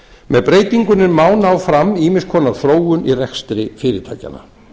með breytingunni má ná fram ýmiss konar þróun í rekstri fyrirtækjanna